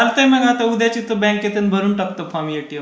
चालतंय मग आता उद्याच येतो बँकेत अन भरून टाकतो फॉर्म एटीएमचा.